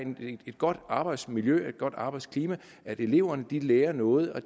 et godt arbejdsmiljø et godt arbejdsklima og at eleverne lærer noget og